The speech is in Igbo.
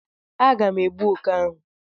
Aga m egbu oké ahụ.